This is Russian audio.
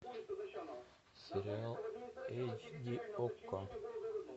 сериал эйч ди окко